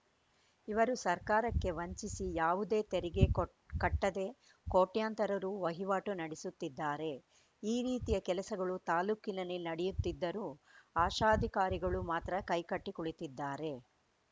ಇವರು ಸರ್ಕಾರಕ್ಕೆ ವಂಚಿಸಿ ಯಾವುದೇ ತೆರಿಗೆ ಕೊಟ್ ಕಟ್ಟದೆ ಕೋಟ್ಯಂತರ ರು ವಹಿವಾಟು ನಡೆಸುತ್ತಿದ್ದಾರೆ ಈ ರೀತಿಯ ಕೆಲಸಗಳು ತಾಲೂಕಿನಲ್ಲಿ ನಡೆಯುತ್ತಿದ್ದರೂ ಅಶಾಧಿಕಾರಿಗಳು ಮಾತ್ರ ಕೈಕಟ್ಟಿ ಕುಳಿತ್ತಿದ್ದಾರೆ